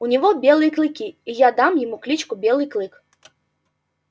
у него белые клыки и я дам ему кличку белый клык